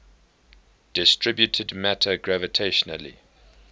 distributed matter gravitationally